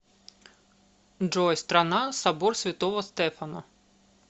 джой страна собор святого стефана